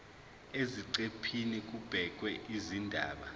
eziqephini kubhekwe izindaba